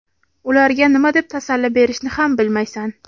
Ularga nima deb tasalli berishni ham bilmaysan.